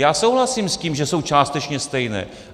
Já souhlasím s tím, že jsou částečně stejné.